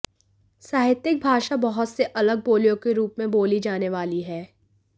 साहित्यिक भाषा बहुत से अलग बोलियों के रूप में बोली जाने वाली है